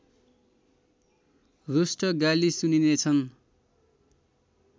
रुष्ट गाली सुनिनेछन्